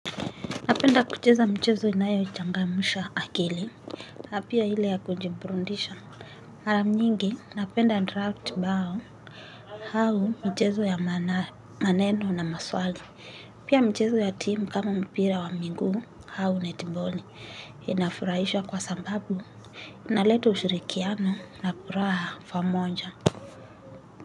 Napenda kucheza michezo inayo changamusha akili, napia ile ya kujiburundisha. Mara nyingi, napenda draft bao, au michezo ya maneno na maswali. Pia michezo ya timu kama mpira wa miguu, au netiboli, inafurahisha kwa sababu, inaleta ushirikiano na furaha pamoja.